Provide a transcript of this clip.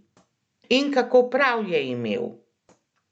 In kako prav je imel!